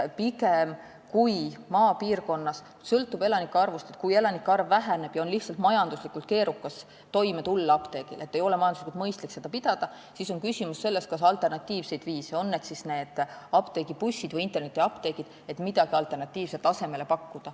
Kui maapiirkonnas elanike arv väheneb ja lihtsalt majanduslikult on keerukas toime tulla, ei ole mõistlik ka apteeki pidada, siis on küsimus pigem selles, kas on asemele pakkuda alternatiivseid viise, on need siis apteegibussid või internetiapteegid.